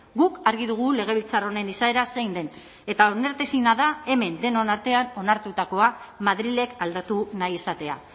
guk argi dugu legebiltzar honen izaera zein den eta onartezina da hemen denon artean onartutakoa madrilek aldatu nahi izatea